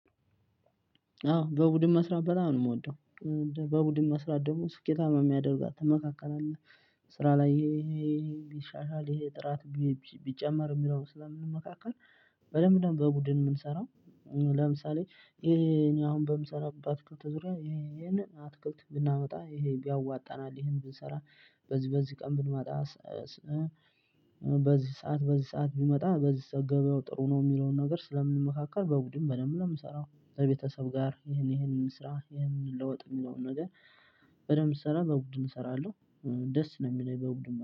አዎ በቡድን መስራት በጣም ነው የምወደው። በቡድን መስራት ደግሞ ስኬታማ የሚያደርጋት መካከል አለ። ስራ ላይ ይሄ ሊሻሻል ይሄ ጥራት ቢጨመር የሚለውን ስለምንመካከር በደንብ ነው በቡድን የምንሰራው። ለምሳሌ ይሄ እኔ አሁን በምሰራበት ባትክልት ዙሪያ ይሄንን አትክልት ብናመጣ ይሄን ቢያዋጣናል ይሄን ብንሰራ በዚህ በዚህ ቀን ብንመጣ። በዚህ ሰዓት በዚህ ሰዓት ቢመጣ በዚህ ገብያው ጥሩ ነው የሚለውን ነገር ስለምንመካከር በቡድን በደንብ ነው። ምንሰራው ከቤተሰብ ጋር ይሄን ይሄንን እንስራ ይሄንን እንለወጥ የሚለውን ነገር። በደንብ ስሰራ በቡድን እሰራለሁ። ደስ ነው የሚለኝ በቡድን